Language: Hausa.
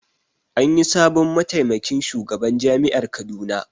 Anyi sabon mataimakin shugaban jami'ar Kaduna